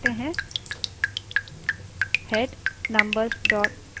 चलिए ऐसा ही head command के साथ करते हैं